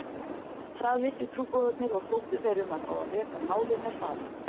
Það vissu trúboðarnir og sóttu þeir um að fá að reka málið með hraði.